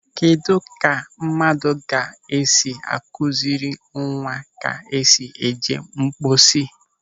Kedụ ka mmadụ ga-esi akụziri nwa ke esi eje mposi?